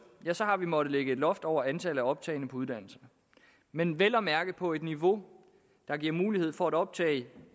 har vi måttet lægge et loft over antallet af optagne på uddannelsen men vel at mærke på et niveau der giver mulighed for at optage